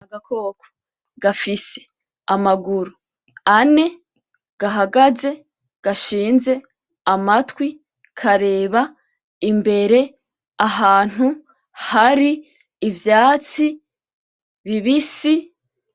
N’agakoko gafise amaguru ane, gahagaze gashinze amatwi karaba imbere ahantu hari ivyatsi bibisi.